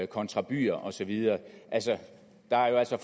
kontra byer og så videre der er jo altså